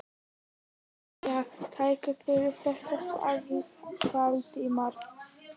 Jæja, takk fyrir þetta- sagði Valdimar.